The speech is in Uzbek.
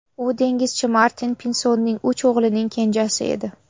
U dengizchi Martin Pinsonning uch o‘g‘lining kenjasi edi.